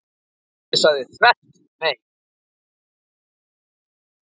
En pabbi sagði þvert nei.